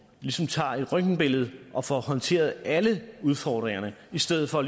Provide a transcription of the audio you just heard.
ligesom tager et røntgenbillede og får håndteret alle udfordringerne i stedet for